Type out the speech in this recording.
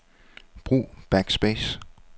Brug backspace.